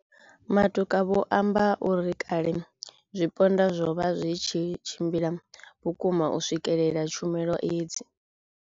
Matuka vho amba uri kale zwipondwa zwo vha zwi tshi tshimbila vhukuma u swikelela tshumelo hedzi.